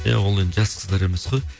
иә ол енді жас қыздар емес қой